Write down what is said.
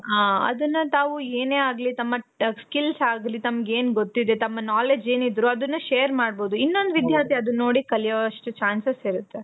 ಹಾ ಅದನ್ನ ತಾವು ಏನೇ ಆಗ್ಲಿ ತಮ್ಮ skills ಆಗ್ಲಿ ತಮ್ಗೆನ್ ಗೊತ್ತಿದೆ. ತಮ್ಮ knowledge ಏನಿದ್ರು ಅದುನ್ನshare ಮಾಡ್ಬಹುದು. ಇನ್ನೊಂದು ವಿಧ್ಯಾರ್ಥಿ ಅದನ್ನ ನೋಡಿ ಕಲಿಯೋ ಅಷ್ಟು chances ಇರುತ್ತೆ.